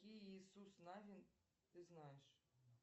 какие иисус навин ты знаешь